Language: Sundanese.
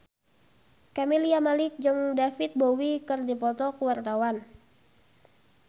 Camelia Malik jeung David Bowie keur dipoto ku wartawan